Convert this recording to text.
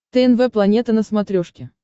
тнв планета на смотрешке